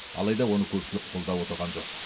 алайда оны көпшілік қолдап отырған жоқ